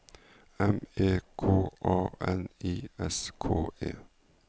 M E K A N I S K E